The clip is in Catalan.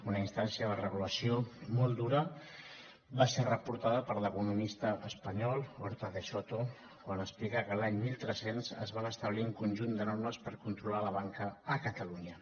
una instància de regulació molt dura va ser reportada per l’economista espanyol huerta de soto quan explica que l’any mil tres cents es van establir un conjunt de normes per controlar la banca a catalunya